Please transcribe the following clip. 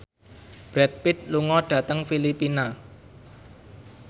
Brad Pitt lunga dhateng Filipina